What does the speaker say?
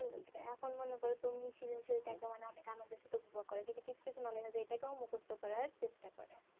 হেঁ এখন মনে করো সিজনশীল তা কে মানে অনেক আনন্দদাসে তো বিভাগ করা কিন্তু কিছু কিছু মনে হবে এইটা কে মুকস্ত করা চেষ্টা করে